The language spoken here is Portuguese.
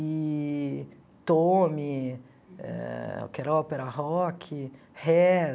Eee Tommy ãh, que era ópera rock, Hair,